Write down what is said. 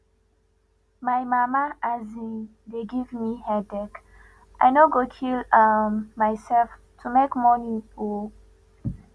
my mama um dey give me headache i no go kill um myself to make money oo